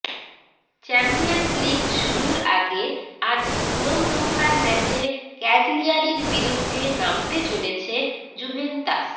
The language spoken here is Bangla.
চ্যাম্পিয়ন্স লিগ শুরুর আগে আজ নিয়মরক্ষার ম্যাচে ক্যাগলিয়ারীর বিরুদ্ধে নামতে চলেছে জুভেন্তাস